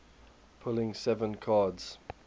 pulling seven cards